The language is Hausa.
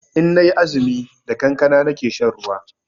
Inna yi azumi da kankana nake shan ruwa